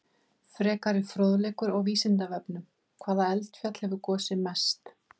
Frekari fróðleikur á Vísindavefnum: Hvaða eldfjall hefur gosið mest?